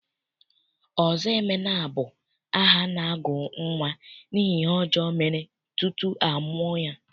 Ọzọemena bụ aha a na-agụ nnwa n'ihi ihe ọjọọ mere tutu a mụọ ya.